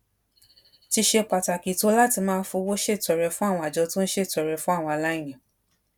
ti ṣe pàtàkì tó láti máa fowó ṣètọrẹ fún àwọn àjọ tó ń ṣètọrẹ fún àwọn aláìní